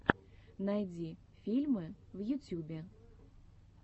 найди фильмы в ютюбе